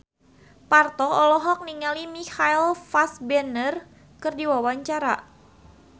Parto olohok ningali Michael Fassbender keur diwawancara